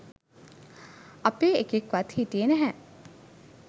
අපේ එකෙක්වත් හිටියේ නැහැ